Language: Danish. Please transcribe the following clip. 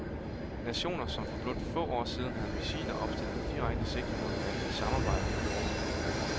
Nationer, som for blot få år siden havde missiler opstillet med direkte sigte på hinanden, samarbejder nu i rummet.